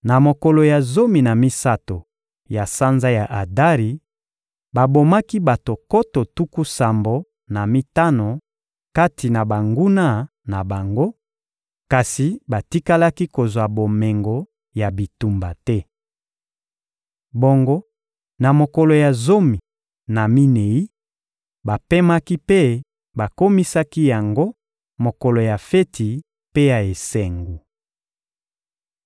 Na mokolo ya zomi na misato ya sanza ya Adari, babomaki bato nkoto tuku sambo na mitano kati na banguna na bango, kasi batikalaki kozwa bomengo ya bitumba te. Bongo na mokolo ya zomi na minei, bapemaki mpe bakomisaki yango mokolo ya feti mpe ya esengo.